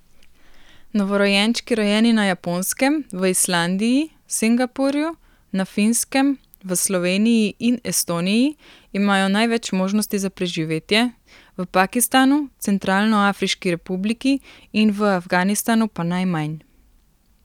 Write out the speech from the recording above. Novorojenčki rojeni na Japonskem, v Islandiji, Singapurju, na Finskem, v Sloveniji in Estoniji imajo največ možnosti za preživetje, v Pakistanu, Centralnoafriški republiki in v Afganistanu pa najmanj.